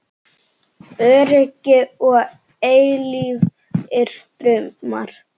Öryggi og eilífir draumar